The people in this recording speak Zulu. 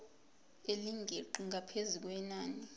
elingeqi ngaphezu kwenani